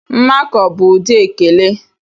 Mmakọ bụ ụdị ekele.